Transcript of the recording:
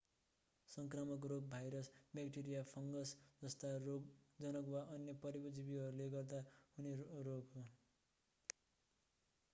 सङ्क्रामक रोग virus bacteria fungus जस्ता रोगजनक वा अन्य परजीवीहरूले गर्दा हुने रोग हो